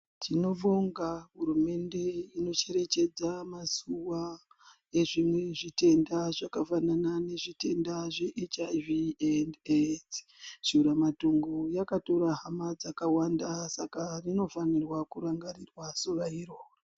Tinobonga hurumende ino cherechedza mazuva ezvine zvitenda zvaka fanana ne zvitenda zve hiv endi edzi shura matongo yaka tora hama dzakawanda saka rino fanirwa ku rangarirwa zuva iroro.